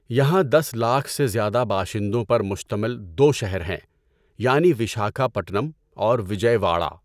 یہاں دس لاکھ سے زیادہ باشندوں پر مشتمل دو شہر ہیں، یعنی وشاکھاپٹنم اور وجئے واڑہ۔